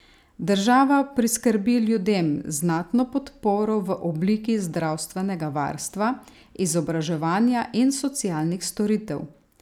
Država priskrbi ljudem znatno podporo v obliki zdravstvenega varstva, izobraževanja in socialnih storitev.